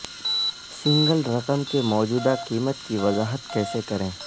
single رقم کے موجودہ قیمت کی وضاحت کیسے کریں